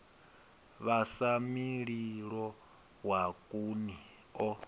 vhasa mililo wa khuni o